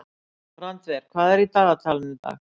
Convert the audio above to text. Randver, hvað er í dagatalinu í dag?